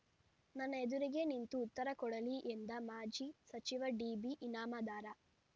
ನನ್ನ ಎದುರಿಗೆ ನಿಂತು ಉತ್ತರ ಕೊಡಲಿ ಎಂದ ಮಾಜಿ ಸಚಿವ ಡಿಬಿ ಇನಾಮದಾರ